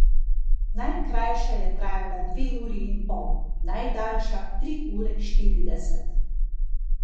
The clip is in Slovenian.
Najkrajša je trajala dve uri in pol, najdaljša tri ure štirideset.